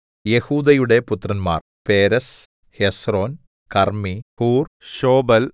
യെഹൂദയുടെ പുത്രന്മാർ Perez Hezron Carmi Hur Shobal